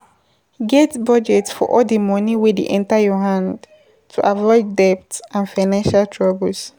Get budget for all di money wey dey enter your hand to avoid debt and financial troubles